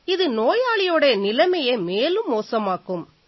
இது நோயாளியோட நிலையை மேலும் மோசமாக்கும்